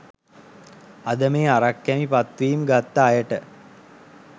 අද මේ අරක්‌කැමි පත්වීම් ගත්ත අයට